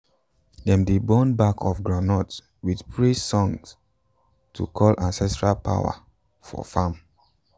dem dey burn back of groundnut with praise song to call ancestral power for farm.